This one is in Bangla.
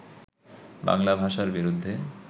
বাংলা ভাষার বিরুদ্ধে